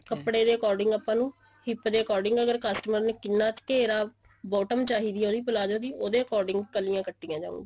ਕੱਪੜੇ ਦੇ according ਆਪਾਂ ਨੂੰ hip ਦੇ according ਅਗਰ ਆਪਾਂ ਨੂੰ customer ਨੇ ਕਿੰਨਾ ਘੇਰਾ bottom ਚਾਹੀਦੀ ਐ ਉਹਦੀ palazzo ਦੀ ਉਹਦੇ according ਕਲੀਆਂ ਕੱਟਿਆ ਜਾਨਗਿਆ